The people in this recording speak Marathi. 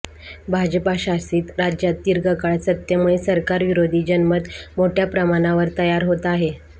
भाजपाशासित राज्यात दीर्घकाळ सत्तेमुळे सरकार विरोधी जनमत मोठयाप्रमाणावर तयार होत आहे